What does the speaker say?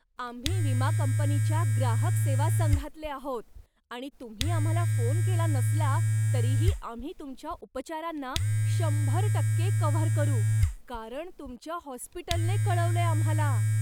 आम्ही विमा कंपनीच्या ग्राहक सेवा संघातले आहोत आणि तुम्ही आम्हाला फोन केला नसला तरीही आम्ही तुमच्या उपचारांना शंभर टक्के कव्हर करू, कारण तुमच्या हॉस्पिटलनं कळवलंय आम्हाला.